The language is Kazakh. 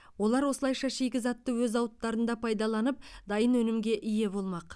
олар осылайша шикізатты өз зауыттарында пайдаланып дайын өнімге ие болмақ